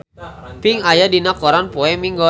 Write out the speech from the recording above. Pink aya dina koran poe Minggon